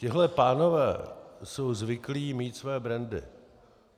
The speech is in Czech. Tihle pánové jsou zvyklí mít své brandy.